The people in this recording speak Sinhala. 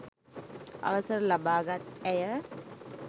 අවසර ලබාගත් ඇය